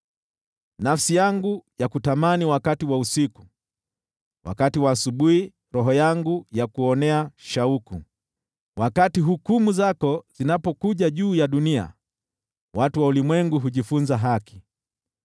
Nafsi yangu yakutamani wakati wa usiku, wakati wa asubuhi roho yangu yakuonea shauku. Wakati hukumu zako zinapokuja juu ya dunia, watu wa ulimwengu hujifunza haki.